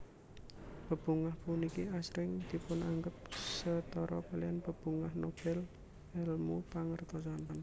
Bebungah puniki asring dipunanggep setara kaliyan Bebungah Nobel èlmu pangertosan